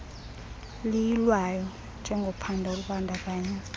liyilwayo njengophando olubandakanya